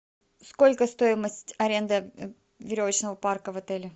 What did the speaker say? сколько стоимость аренды веревочного парка в отеле